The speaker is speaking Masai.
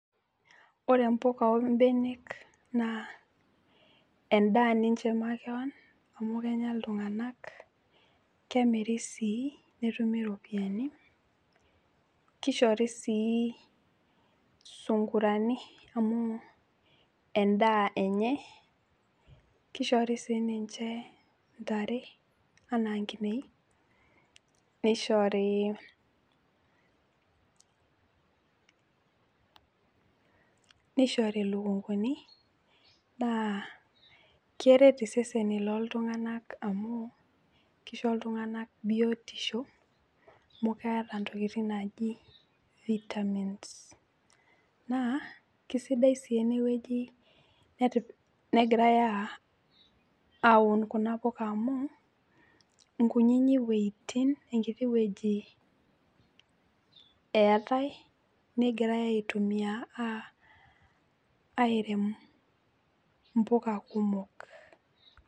Ore mpoka ombenek naa endaa ninche makewan amu kenya iltung'anak, kemiri sii netumi ropiani, keishori sii sungurani amu endaa enye, keishori siininche intare anaa nkineji neishorii, neishori lukunguni naa keret iseseni loltung'anak amu keisho iltung'anak biotisho amu keeta ntokitin naaji  vitamins. Naa keisidai sii enewueji negirai [aa] aun kuna poka amuu inkunyinyi wueitin enkiti wueji eetai negirai aitumia [aa] airem impoka kumok.